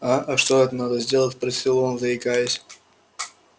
а а что эт надо сделать спросил он заикаясь